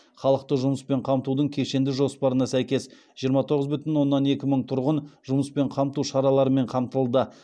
халықты жұмыспен қамтудың кешенді жоспарына сәйкес жиырма тоғыз бүтін оннан екі мың тұрғын жұмыспен қамту шараларымен қамтылды